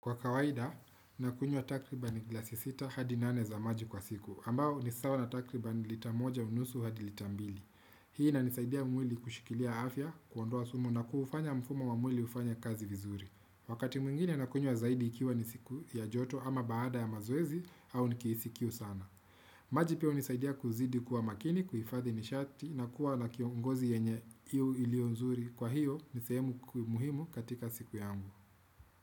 Kwa kawaida, nakunywa takribani glasi sita hadi nane za maji kwa siku, ambayo ni sawa na takribani lita moja unusu hadi lita mbili. Hii inanisaidia mwili kushikilia afya, kuondoa sumu na kuufanya mfumo wa mwili kufanya kazi vizuri. Wakati mwingine nakunywa zaidi ikiwa ni siku ya joto ama baada ya mazoezi au nikihisi kiu sana. Maji pia hunisaidia kuzidi kuwa makini, kuhifadhi nishati, na kuwa na ngozi yenye iliyo nzuri. Kwa hiyo, ni sehemu muhimu katika siku yangu.